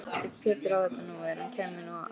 Ef Pétur á þetta nú. ef hann kæmi nú æðandi!